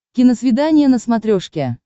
киносвидание на смотрешке